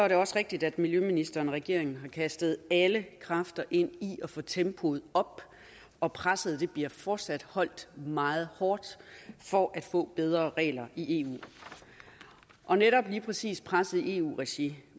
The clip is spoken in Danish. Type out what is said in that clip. det også rigtigt at miljøministeren og regeringen har kastet alle kræfter ind i at få tempoet op og presset bliver fortsat holdt meget hårdt for at få bedre regler i eu og netop lige præcis presset i eu regi